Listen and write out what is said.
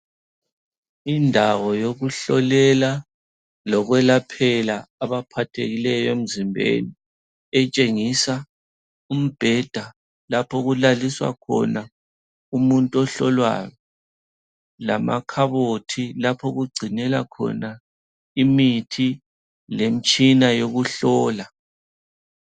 Indawo yokuhlolela lokwelaphela abaphathekileyo emzimbeni etshengisa umbheda lapho okulaliswa khona umuntu ohlolwayo lamakhabothi lapho okugcinelwa khona imithi lemtshina yokuhlola.